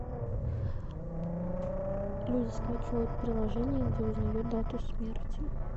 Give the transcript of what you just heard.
люди скачивают приложение где узнают дату смерти